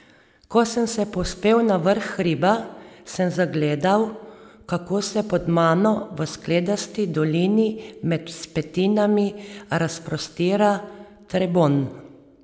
Ko sem se povzpel na vrh hriba, sem zagledal, kako se pod mano v skledasti dolini med vzpetinami razprostira Trebon.